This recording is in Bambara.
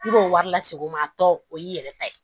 I b'o wari lase o ma a tɔ o y'i yɛrɛ ta ye